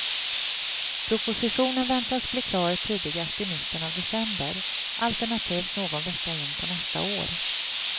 Propositionen väntas bli klar tidigast i mitten av december alternativt någon vecka in på nästa år.